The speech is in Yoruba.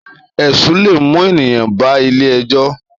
Èsún lé mú éniyán bá ilé èjò